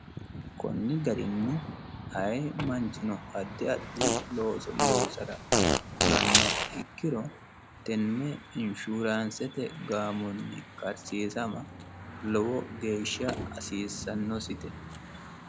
Konni garinni ayi manichino addi addi looso loosara fulanoha ikkiro tenne inshurannisete gaamonni karisiisama lowo geesha hasisanositte